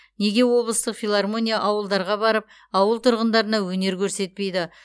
неге облыстық филармония ауылдарға барып ауыл тұрғындарына өнер көрсетпейді